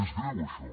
és greu això